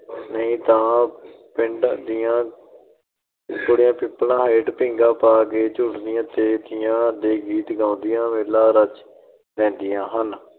ਨਹੀਂ ਤਾਂ ਪਿੰਡ ਦੀਆਂ ਕੁੜੀਆਂ, ਪਿਪਲਾਂ ਹੇਠਾਂ ਪੀਂਘਾਂ ਪਾ ਕੇ ਝੂਟੀਆਂ ਤੇ ਤੀਆਂ ਦੇ ਗੀਤ ਗਾਉਦੀਆਂ, ਮੇਲਾ ਰਚ ਲੈਦੀਆਂ ਹਨ ।